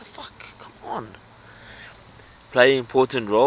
play important roles